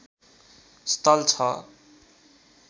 स्थल छ